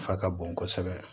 Nafa ka bon kosɛbɛ